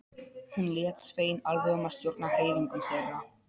Hún lét Svein alveg um að stjórna hreyfingum þeirra.